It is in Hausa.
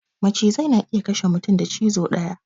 Macizai na iya kashe mutum da cizo daya